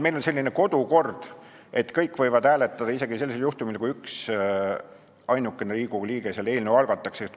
Meil on selline kodukord, et kõik võivad hääletada isegi sellisel juhul, kui üksainuke Riigikogu liige on eelnõu algatanud.